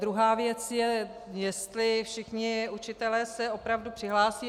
Druhá věc je, jestli všichni učitelé se opravdu přihlásí.